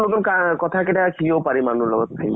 নতুন কা কথা কেইটা সিও পাৰে মানুহ ৰ লগত